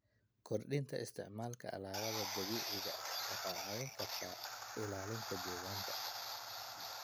Kordhinta isticmaalka alaabada dabiiciga ah waxay caawin kartaa ilaalinta deegaanka.